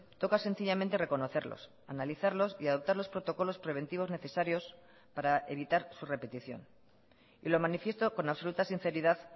toca sencillamente reconocerlos analizarlos y adoptar los protocolos preventivos necesarios para evitar su repetición y lo manifiesto con absoluta sinceridad